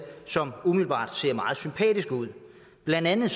som umiddelbart ser meget sympatiske ud blandt andet